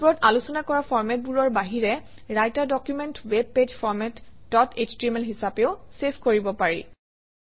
ওপৰত আলোচনা কৰা ফৰমেটবোৰৰ বাহিৰে Writer document web page format dot HTML হিচাপেও চেভ কৰিব পাৰি